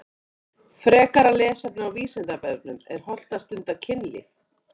Frekara lesefni á Vísindavefnum Er hollt að stunda kynlíf?